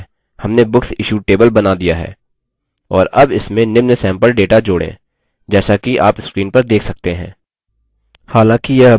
और add इसमें निम्न सैम्पल data जोड़ें जैसा कि आप screen पर देख सकते हैं